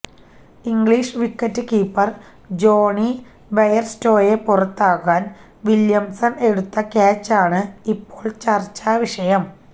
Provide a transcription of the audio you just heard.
English wicket keeper Johnny ബെയര്സ്റ്റോയെ പുറത്താക്കാൻ Williamson എടുത്ത ക്യാച്ചാണ് ഇപ്പോൾ ചർച്ചാ വിഷയം